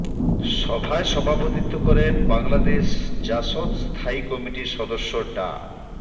সভায় সভাপতিত্ব করেন বাংলাদেশ জাসদ স্থায়ী কমিটির সদস্য ডা